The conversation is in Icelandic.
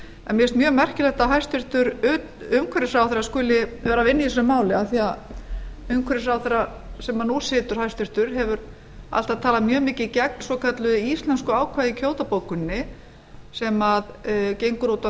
en mér finnst mjög merkilegt að hæstvirtur umhverfisráðherra skuli vera að vinna í þessu máli af því að hæstvirtur umhverfisráðherra sem nú situr hefur alltaf talað mjög mikið gegn svokölluðu íslensku ákvæði í kyoto bókuninni sem gengur út á